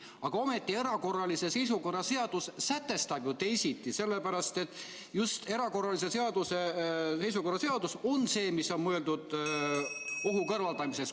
Aga ometi erakorralise seisukorra seadus sätestab ju teisiti, sellepärast et just erakorralise seisukorra seadus on see, mis on mõeldud ohu kõrvaldamiseks.